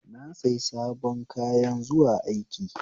Na sayi sabon kayan zuwa aiki